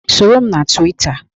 Soro m na Twita